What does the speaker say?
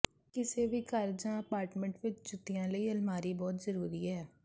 ਕਿਸੇ ਵੀ ਘਰ ਜਾਂ ਅਪਾਰਟਮੈਂਟ ਵਿੱਚ ਜੁੱਤੀਆਂ ਲਈ ਅਲਮਾਰੀ ਬਹੁਤ ਜ਼ਰੂਰੀ ਹੈ